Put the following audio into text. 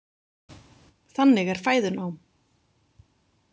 Þannig er fæðunám.